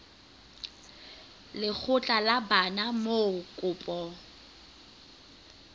lekgotla la bana moo kopo